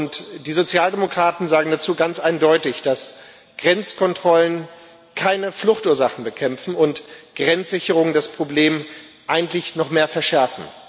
Und die Sozialdemokraten sagen dazu ganz eindeutig, dass Grenzkontrollen keine Fluchtursachen bekämpfen und Grenzsicherung das Problem eigentlich noch mehr verschärft.